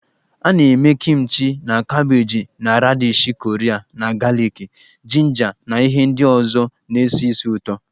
A na-eme Kimchi na kabeeji na radishi Korea na galiki, jinja na ihe ndị ọzọ na-esi ísì ụtọ